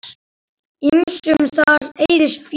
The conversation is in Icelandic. Ýmsum þarna eyðist féð.